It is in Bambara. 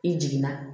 I jiginna